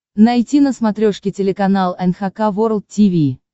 найти на смотрешке телеканал эн эйч кей волд ти ви